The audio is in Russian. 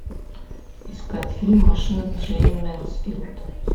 искать фильм машина джейн мэнсфилд